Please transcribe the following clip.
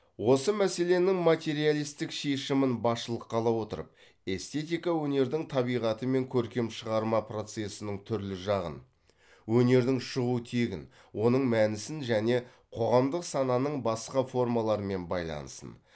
осы мәселенің материалистік шешімін басшылыққа ала отырып эстетика өнердің табиғаты мен көркем шығарма процесінің түрлі жағын өнердің шығу тегін оның мәнісін және қоғамдық сананың басқа формаларымен байланысын